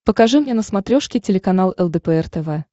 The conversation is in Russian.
покажи мне на смотрешке телеканал лдпр тв